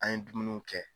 An ye dumuniw kɛ